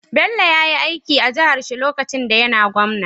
Bello yayi aiki a jahar shi lokacin da yAna gwamna